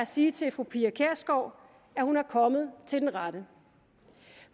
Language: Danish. sige til fru pia kjærsgaard at hun er kommet til den rette